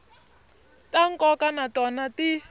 ta nkoka na tona ti